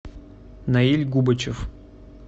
наиль губачев